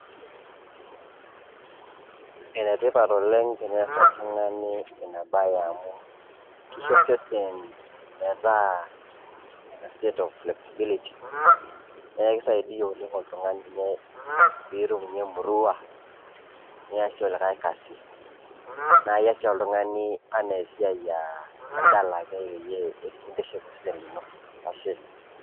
enetipat oleng' tenees oltung'ani enabae amu kisho osesen metaa set of responsibilities pee itum emuruna niyasie likae kasi nintiship osesen lino.